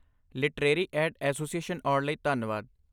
Literary aid association ਆਉਣ ਲਈ ਧੰਨਵਾਦ।